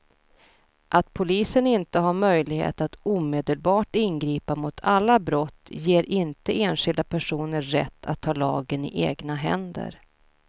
Att polisen inte har möjlighet att omedelbart ingripa mot alla brott ger inte enskilda personer rätt att ta lagen i egna händer.